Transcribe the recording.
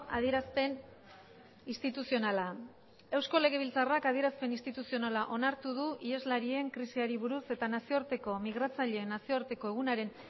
adierazpen instituzionala eusko legebiltzarrak adierazpen instituzionala onartu du iheslarien krisiari buruz eta nazioarteko migratzaile nazioarteko egunaren